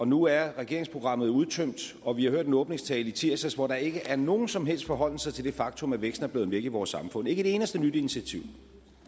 nu er regeringsprogrammet udtømt og vi har hørt en åbningstale i tirsdags hvor der ikke er nogen som helst forholden sig til det faktum at væksten er blevet væk i vores samfund ikke et eneste nyt initiativ